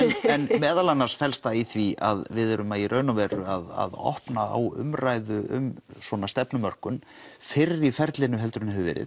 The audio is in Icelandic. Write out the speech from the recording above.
en meðal annars felst það í því að við erum í raun og veru að opna á umræðu um svona stefnumörkun fyrr í ferlinu heldur en hefur verið